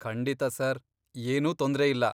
ಖಂಡಿತಾ ಸರ್, ಏನೂ ತೊಂದ್ರೆ ಇಲ್ಲ.